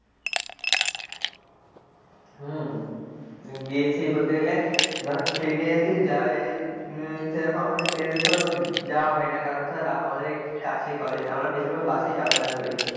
হম গিয়েছি বলতে গেলে ধর train যদি যাই হম সেরকম আমাদের train যাওয়া হয় না কারণ ধর আমাদের কাছেই কলেজ আমরা বেশিরভাগ bus ই যাতায়াত করি,